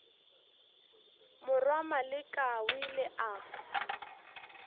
morwa maleka o ile a